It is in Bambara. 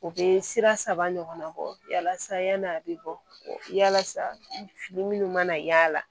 U bɛ sira saba ɲɔgɔnna bɔ yala sa yani a bɛ bɔ yalasa fini minnu mana yaala